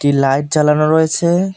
Light জ্বালানো রয়েছে ।